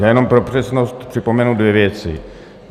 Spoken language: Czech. Já jenom pro přesnost připomenu dvě věci.